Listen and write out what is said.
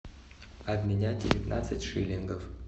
обменять девятнадцать шиллингов